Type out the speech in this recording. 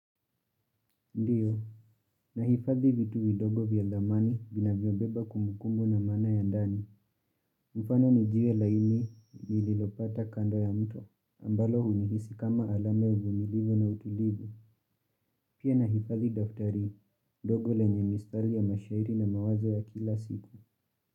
Ndiyo, nahifadhi vitu vidogo vya thamana vina vyobeba kumbukumbuku na mana ya ndani. Mfano ni jiwe laini nililopata kanda ya mto. Ambalo hunihisi kama alam ya uvunilifu na utulivu. Pia na hifadhi daftari, dogo lenye mistari ya mashairi na mawazo ya kila siku.